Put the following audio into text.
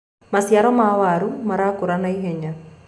maciaro ma waru marakũra naihenya